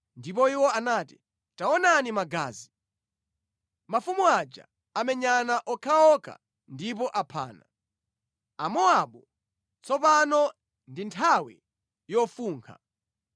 Ndipo iwo anati, “Taonani magazi! Mafumu aja amenyana okhaokha ndipo aphana. Amowabu, tsopano ndi nthawi yofunkha!”